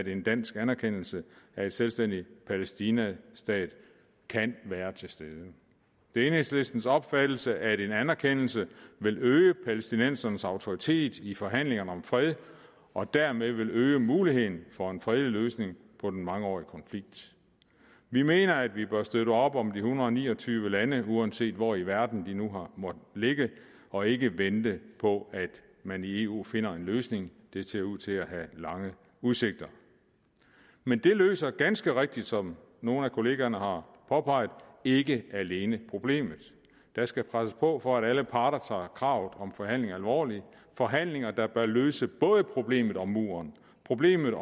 en dansk anerkendelse af en selvstændig palæstinastat være til stede det er enhedslistens opfattelse at en anerkendelse vil øge palæstinensernes autoritet i forhandlingerne om fred og dermed øge muligheden for en fredelig løsning på den mangeårige konflikt vi mener at vi bør støtte op om de en hundrede og ni og tyve lande uanset hvor i verden de nu måtte ligge og ikke vente på at man i eu finder en løsning det ser ud til at have lange udsigter men det løser ganske rigtigt som nogle af kollegaerne har påpeget ikke alene problemet der skal presses på for at alle parter tager kravet om forhandlinger alvorligt forhandlinger der bør løse både problemet med muren problemet